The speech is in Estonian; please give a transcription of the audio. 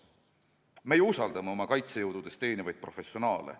Me usaldame oma kaitsejõududes teenivaid professionaale.